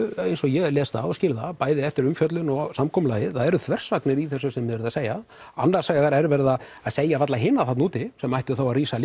eins og ég les það og skil það bæði eftir umfjöllum og samkomulagið það eru þversagnir í þessu sem þið eruð að segja annars vegar er verið að segja við alla hina þarna úti sem ættu þá að rísa